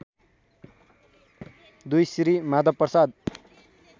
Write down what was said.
२ Shri Madhav Prasad